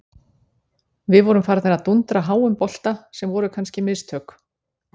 Við vorum farnir að dúndra háum bolta sem voru kannski mistök.